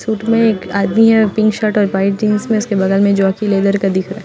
suit में एक आदमी हैपिंक शर्ट और वाइट जीन्स मैं उस के बगल में जॉकी लेदर का दीख रहा है--